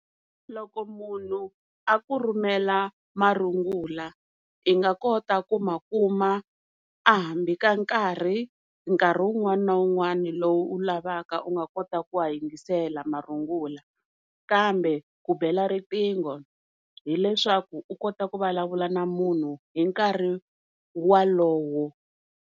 Loko munhu a ku rhumela marungula i nga kota ku ma kuma a hambi ka nkarhi nkarhi wun'wana na wun'wana lowu u lavaka u nga kota ku ya yingisela marungula, kambe ku bela riqhingo hileswaku u kota ku vulavula na munhu hi nkarhi walowo.